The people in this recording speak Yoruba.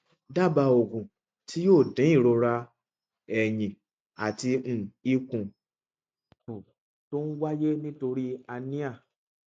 ní báyìí ẹ máa farabalẹ kí ẹ sì máa lo oògùn acetaminophen láti mú ìrora kúrò